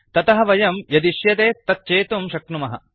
ततः वयं यदिश्यते तत् चेतुं शक्नुमः